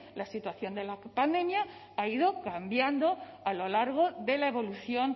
la situación de la pandemia ha ido cambiando a lo largo de la evolución